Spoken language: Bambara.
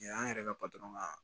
Yan an yɛrɛ ka ka